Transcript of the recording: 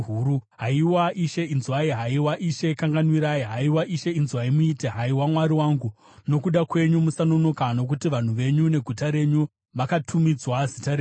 Haiwa Ishe, inzwai! Haiwa Ishe kanganwirai! Haiwa Ishe, inzwai muite! Haiwa Mwari wangu, nokuda kwenyu musanonoka, nokuti vanhu venyu neguta renyu vakatumidzwa Zita renyu.”